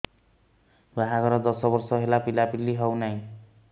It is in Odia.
ବାହାଘର ଦଶ ବର୍ଷ ହେଲା ପିଲାପିଲି ହଉନାହି